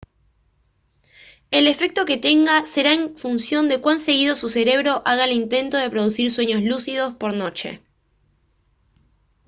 el efecto que tenga será en función de cuán seguido su cerebro haga el intento de producir sueños lúcidos por noche